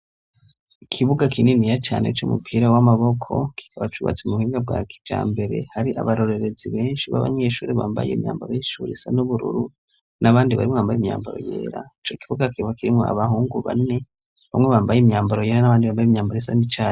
ikibuga kininiya cane c'umupira w'amaboko kikaba cubatse mu buhinga bwa kija mbere hari abarorerezi benshi b'abanyeshuri bambaye imyambaro y'ishure isa n'ubururu n'abandi barimwambaye imyambaro yera ico kibuga kikaba kirimwo abahungu bane bamwe bambaye imyambaro yera n'abandi bambaye imyambaro isa n'icatsi